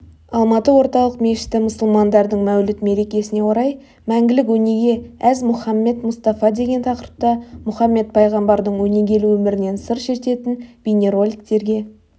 алматы орталық мешіті мұсылмандардың мәуліт мерекесіне орай мәңгілік өнеге әз мұхаммед мұстафа деген тақырыпта мұхаммед пайғамбардың өнегелі өмірінен сыр шертетін бейнероликтерге